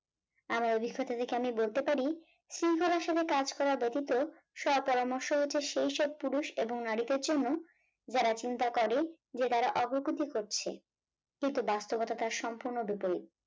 আমার অভিজ্ঞতা থেকে আমি বলতে পারি শৃঙ্খলার সঙ্গে কাজ করা ব্যতীত স-পরামর্শ হচ্ছে সেই সব পুরুষ ও নারীদের জন্য যারা চিন্তা করে যে তারা অগ্রগতি করছে কিন্তু বাস্তবতা তার সম্পূর্ণ বিপরীত।